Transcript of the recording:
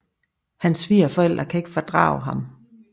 Hans svigerforældre kan ikke fordrage ham